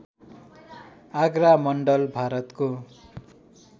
आगरा मण्डल भारतको